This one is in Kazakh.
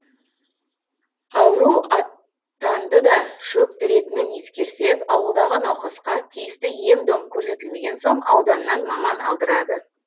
ауру атанды да шөктіретінін ескерсек ауылдағы науқасқа тиісті ем дом көрсетілмеген соң ауданнан маман алдырады